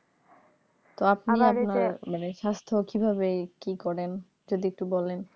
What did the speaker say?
তো আপনি আপনার মানে স্বাস্থ্য কিভাবে কি করেন যদি একটু বলেন